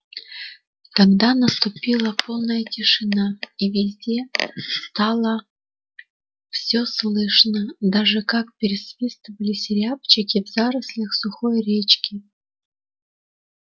тогда наступила полная тишина и везде стало все слышно даже как пересвистывались рябчики в зарослях сухой речки